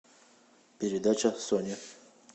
передача сони